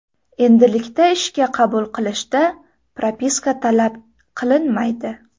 Endilikda ishga qabul qilishda propiska talab qilinmaydi.